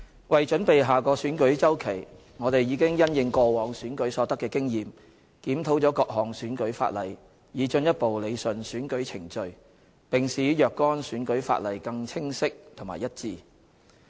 為準備下個選舉周期，我們已因應過往選舉所得的經驗，檢討了各項選舉法例，以進一步理順選舉程序，並使若干選舉法例更加清晰和一致。